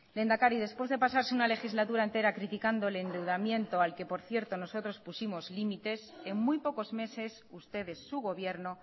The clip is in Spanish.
lehendakari después de pasarse una legislatura entera criticando el endeudamiento al que por cierto nosotros pusimos límites en muy pocos meses ustedes su gobierno